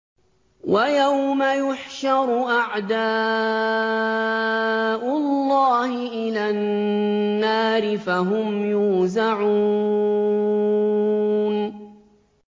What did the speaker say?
وَيَوْمَ يُحْشَرُ أَعْدَاءُ اللَّهِ إِلَى النَّارِ فَهُمْ يُوزَعُونَ